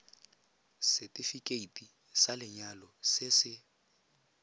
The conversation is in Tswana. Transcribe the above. setefikeiti sa lenyalo se se